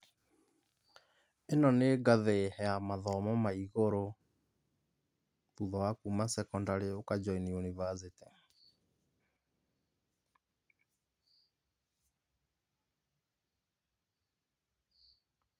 Ĩno nĩ ngathĩ ya mathomo ma igũrũ, thutha wa kuma secondary ũka join university